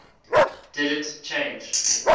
didn t change